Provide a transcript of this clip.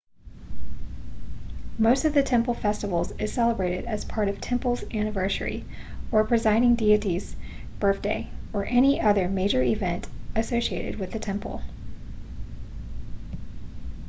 most of the temple festivals is celebrated as part of temple's anniversary or presiding deity's birthday or any other major event associated with the temple